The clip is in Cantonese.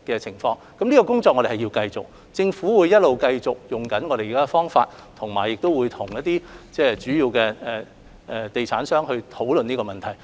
這方面的工作需要繼續進行，政府亦會繼續沿用現行方法處理，並跟主要地產商討論這問題。